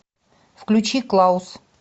включи клаус